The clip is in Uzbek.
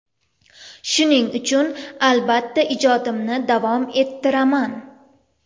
Shuning uchun albatta ijodimni davom ettiraman.